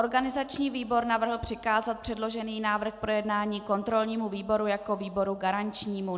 Organizační výbor navrhl přikázat předložený návrh k projednání kontrolnímu výboru jako výboru garančnímu.